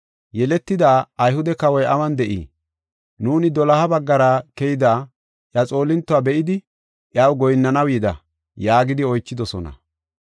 “Yeletida Ayhude kawoy awun de7ii? Nuuni doloha baggara keyida iya xoolintuwa be7idi iyaw goyinnanaw yida” yaagidi oychidosona.